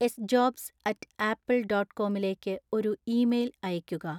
sjobs at apple dot കോമിലേക്ക് ഒരു email അയയ്ക്കുക